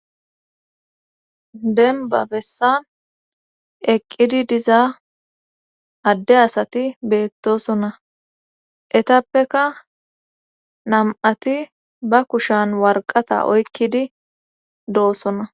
Demba bessan eqqidi diza adde asati beettosonna etappeka nam7ati ba kushan warqata oykkidi do7osona.